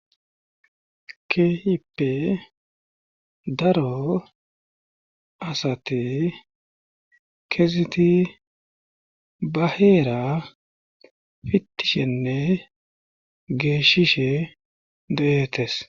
keehippe daro asati keeseti ba heera fittishenne geeshishe de7etes